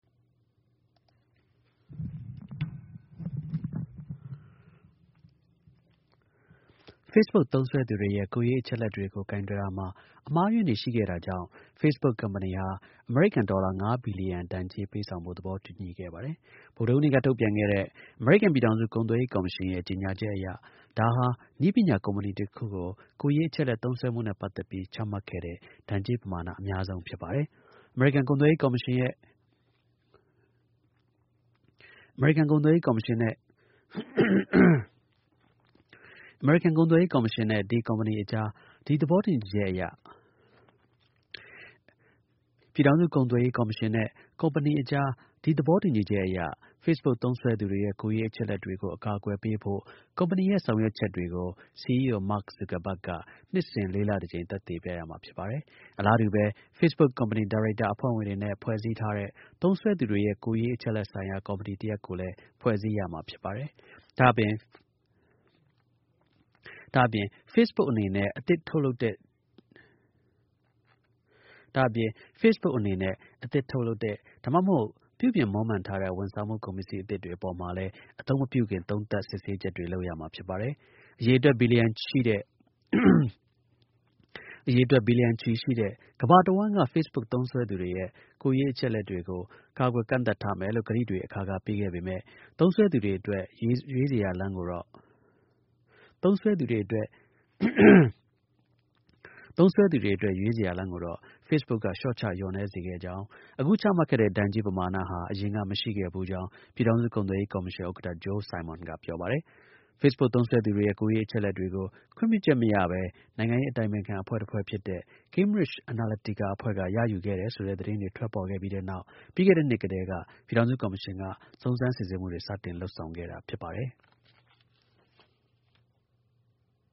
Facebook သုံးစွဲသူတွေရဲ့ ကိုယ်ရေး အချက်အလက်တွေကို ကိုင်တွယ်တာမှာ အမှားအယွင်းတွေ ရှိတာကြောင့် Facebook ကုမ္ပဏီဟာ အမေရိကန် ဒေါ်လာ ၅ ဘီလျံ ဒဏ်ကြေး ပေးဆောင်ဖို့ သဘောတူခဲ့ပါတယ်။ ဗုဒ္ဓဟူးနေ့က ထုတ်ပြန်တဲ့ အမေရိကန် ပြည်ထေင်စု ကုန်သွယ်ရေး ကော်မရှင်ရဲ့ ကြေညာချက်အရ ဒါဟာ နည်းပညာ ကုမ္ပဏီ တခုကို ကိုယ်ရေး အချက်အလက် သုံးစွဲမှုနဲ့ ပတ်သက်ပြီး ချမှတ်ခဲ့တဲ့ ဒဏ်ကြေး ပမာဏ အများဆုံး ဖြစ်ပါတယ်။ ပြည်ထောင်စု ကုန်သွယ်ရေး ကော်မရှင်နဲ့ ကုမ္ပဏီ အကြား ဒီ သဘောတူညီချက်အရ Facebook သုံးစွဲသူတွေရဲ့ ကိုယ်ရေး အချက်အလက်တွေကို အကာအကွယ်ပေဖို့ ကုမ္ပဏီရဲ့ ဆောင်ရွက်ချက်တွေကို CEO Mark Zuckerberg က နှစ်စဉ် လေးလတစ်ကြိမ် သက်သေပြ ရမှာဖြစ်ပါတယ်။ အလားတူပဲ Facebook ကုမ္ပဏီ ဒါရိုက်တာ အဖွဲ့ဝင်တွေနဲ့ ဖွဲ့စည်းထားတဲ့ သုံးစွဲသူတွေရဲ့ ကိုယ်ရေး အချက်အလက်ဆိုင်ရာ ကော်မတီ တစ်ရပ်ကို လည်း ဖွဲ့စည်းရမှာ ဖြစ်ပါတယ်။ ဒါ့အပြင် Facebook အနေနဲ့ အသစ် ထုတ်လုပ်တဲ့ ဒါမှမဟုတ် ပြုပြင်မွမ်းမံထားတဲ့ ဝန်ဆောင်မှု ကုန်ပစ္စည်းအသစ်တွေ အပေါ်မှာလည်း အသုံးမပြုခင် သုံးသပ် စစ်ဆေးချက်တွေ လုပ်ရမှာ ဖြစ်ပါတယ်။ အရေအတွက် ဘီလျံချီရှိတဲ့ ကမ္ဘာ့ တစ်ဝှမ်းက Facebook သုံးစွဲသူတွေရဲ့ ကိုယ်ရေး အချက်အလက်တွေကို ကာကွယ် ကန့်သတ်ထားမယ်လို့ ကတိတွေ အခါခါ ပေးခဲ့ပေမဲ့ သုံးစွဲသူတွေအတွက် ရွေးစရာ လမ်းတွေကို Facebook က လျှော့ချ လျော့နည်း စေခဲ့ကြောင်း၊ အခု ချမှတ်ခဲ့တဲ့ ဒဏ်ကြေး ပမာဏဟာ အရင်က မရှိခဲ့ဖူးကြောင်း ပြည်ထောင်စု ကုန်သွယ်ရေး ကော်မရှင် ဥက္ကဌ Joe Simon ပြောပါတယ်။ Facebook သုံးစွဲသူတွေရဲ့ ကိုယ်ရေး အချက်အလက်တွေကို ခွင့်ပြုချက် မရဘဲ နိုင်ငံရေး အတိုင်ပင်ခံအဖွဲ့တစ်ခု ဖြစ်တဲ့ Cambridge Analytica အဖွဲ့က ရယူခဲ့တယ်ဆိုတဲ့ သတင်းတွေ ထွက်ခဲ့ပြီးနောက် ပြီးခဲ့တဲ့နှစ်ကတည်းက ပြည်ထောင်စု ကော်မရှင်က စုံစမ်းစစ်ဆေးမှုတွေ စတင် လုပ်ဆောင်ခဲ့တာ ဖြစ်ပါတယ်။